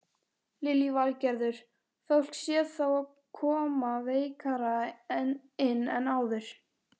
Lillý Valgerður: Fólk sé þá koma veikara inn en áður?